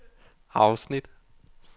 afsnit